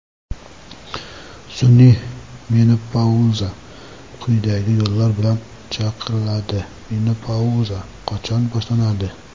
Sun’iy menopauza quyidagi yo‘llar bilan chaqiriladi: Menopauza qachon boshlanadi?